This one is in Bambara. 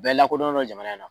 Bɛɛ lakodɔnnen don jamana in na.